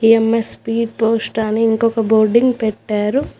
EMS speed post అని ఇంకొక boarding పెట్టారు.